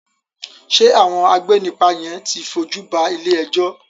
Ṣé àwọn agbénipa yen ti fojú ba ilé-ẹjọ́?